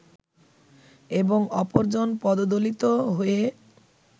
এবং অপরজন পদদলিত হয়ে